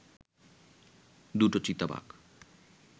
দুটো চিতাবাঘ